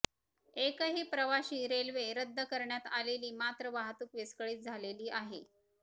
एकही प्रवाशी रेल्वे रद्द करण्यात आलेली मात्र वाहतुक विस्कळीत झालेली आहे